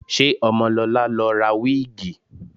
Ṣé Ọmọlọlá lọ ra wíìgì?